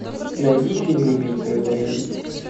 найди фильм убийца на замену